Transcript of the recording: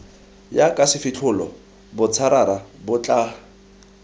jaka sefitlholo botšarara bo tla